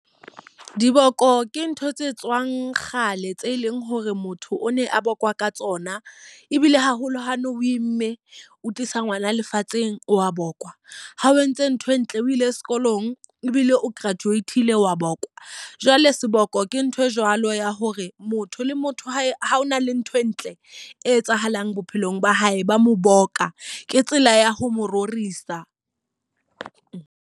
Diboko ke ntho tse tswang kgale, tse leng hore motho o ne a bokwa ka tsona. Ebile haholo ha ne o imme, o tlisa ngwana lefatsheng wa bohlokwa. Ha o entse ntho e ntle o ile sekolong ebile o graduate-ile wa bohlokwa. Jwale seboko ke ntho e jwalo ya hore motho le motho ha ho na le ntho e ntle e etsahalang bophelong ba hae ba mo boka, ke tsela ya ho mo rorisa.